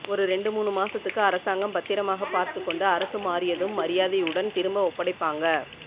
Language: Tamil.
ஒரு ரெண்டு மூணுமாசத்துக்கு அரசாங்கம் பத்திரமாக பார்த்துக்கொண்டு அரசுமாறியதும் மரியாதை உடன் திரும்ப ஒப்படைப்பாங்க